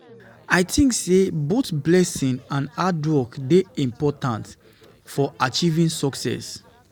I dey think say both blessing and hard work dey important important for achieving success.